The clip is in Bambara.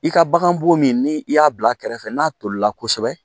I ka bagan bo min ni i y'a bila kɛrɛfɛ n'a tolila kosɛbɛ